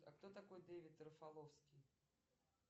а кто такой дэвид рафаловский